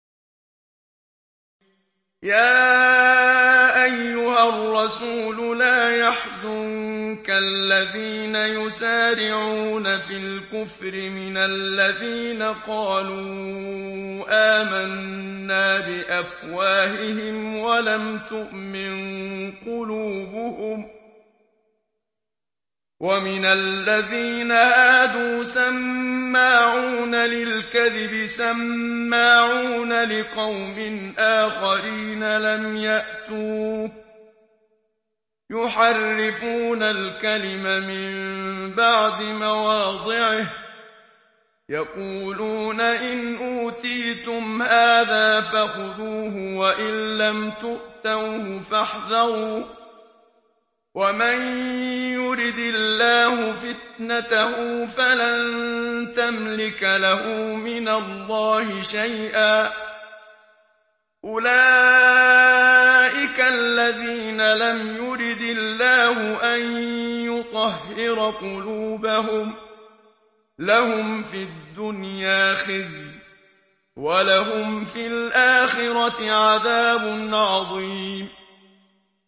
۞ يَا أَيُّهَا الرَّسُولُ لَا يَحْزُنكَ الَّذِينَ يُسَارِعُونَ فِي الْكُفْرِ مِنَ الَّذِينَ قَالُوا آمَنَّا بِأَفْوَاهِهِمْ وَلَمْ تُؤْمِن قُلُوبُهُمْ ۛ وَمِنَ الَّذِينَ هَادُوا ۛ سَمَّاعُونَ لِلْكَذِبِ سَمَّاعُونَ لِقَوْمٍ آخَرِينَ لَمْ يَأْتُوكَ ۖ يُحَرِّفُونَ الْكَلِمَ مِن بَعْدِ مَوَاضِعِهِ ۖ يَقُولُونَ إِنْ أُوتِيتُمْ هَٰذَا فَخُذُوهُ وَإِن لَّمْ تُؤْتَوْهُ فَاحْذَرُوا ۚ وَمَن يُرِدِ اللَّهُ فِتْنَتَهُ فَلَن تَمْلِكَ لَهُ مِنَ اللَّهِ شَيْئًا ۚ أُولَٰئِكَ الَّذِينَ لَمْ يُرِدِ اللَّهُ أَن يُطَهِّرَ قُلُوبَهُمْ ۚ لَهُمْ فِي الدُّنْيَا خِزْيٌ ۖ وَلَهُمْ فِي الْآخِرَةِ عَذَابٌ عَظِيمٌ